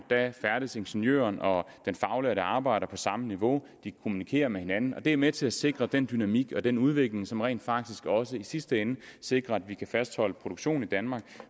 færdes ingeniøren og den faglærte arbejder på samme niveau de kommunikere med hinanden og det er med til at sikre den dynamik og den udvikling som rent faktisk også i sidste ende sikrer at vi kan fastholde en produktion i danmark